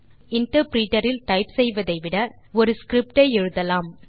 மேலும் இன்டர்பிரிட்டர் இல் டைப் செய்வதைவிட நாம் ஒரு ஸ்கிரிப்ட் ஐ எழுதலாம்